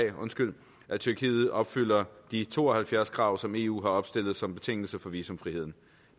at tyrkiet opfylder de to og halvfjerds krav som eu har opstillet som betingelse for visumfriheden